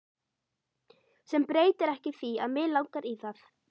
Sem breytir ekki því að mig langar í það.